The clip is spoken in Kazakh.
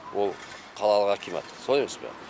ол қалалық акимат солай емес пе